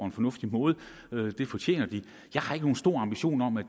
en fornuftig måde det fortjener de jeg har ikke nogen stor ambition om at